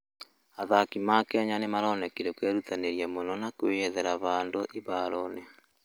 athakĩ a Kenya nĩmaronekĩre kwĩrũtanĩrĩa mũno na kwĩyethera handũ ĩharoĩnĩ